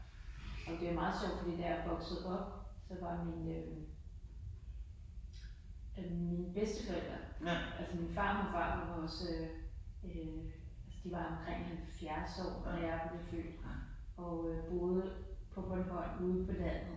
Og det er meget sjovt fordi da jeg voksede op, så var min øh øh mine bedsteforældre altså min farmor og farfar var også øh øh altså de var omkring 70 år da jeg blev født og øh boede på Bornholm ude på landet